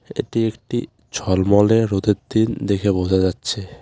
এটি একটি ঝলমলে রোদের দিন দেখে বোঝা যাচ্ছে.